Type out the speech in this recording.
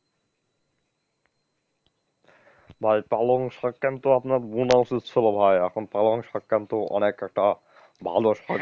ভাই পালং শাক কিন্তু আপনার বুনা উচিত ছিল ভাই এখন পালং শাক কিন্তু অনেক একটা ভালো শাক,